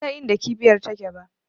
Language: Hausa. Bansan inda kibiyar take ba